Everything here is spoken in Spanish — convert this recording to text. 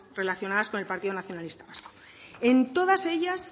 relacionadas con el partido nacionalista vasco en todas ellas